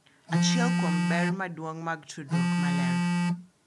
Achiel kuom ber madongo mag tudruok maler